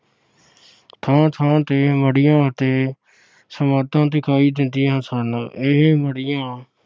ਥਾਂ ਥਾਂ ਤੇ ਮੜੀਆਂ ਅਤੇ ਸਮਾਧਾਂ ਦਿਖਾਈ ਦਿੰਦੀਆਂ ਸਨ। ਇਹ ਮੜੀਆਂ